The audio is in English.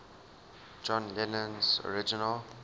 john lennon's original